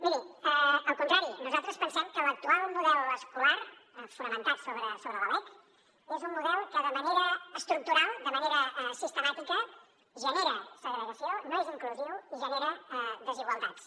miri al contrari nosaltres pensem que l’actual model escolar fonamentat sobre la lec és un model que de manera estructural de manera sistemàtica genera segregació no és inclusiu i genera desigualtats